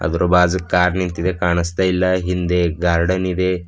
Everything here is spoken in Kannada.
ಅದರ ಬಾಜು ಕಾರ್ ನಿಂತಿದೆ ಕಾಣಿಸ್ತಾ ಇಲ್ಲ ಹಿಂದೆ ಗಾರ್ಡನ್ ಇದೆ.